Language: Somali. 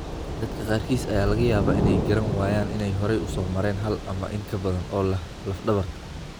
Dadka qaarkiis ayaa laga yaabaa inay garan waayaan inay hore u soo mareen hal ama in ka badan oo laf dhabarta ah.